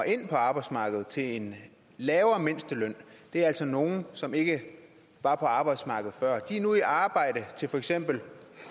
ind på arbejdsmarkedet til en lavere mindsteløn altså er nogen som ikke var på arbejdsmarkedet før de er nu i arbejde til for eksempel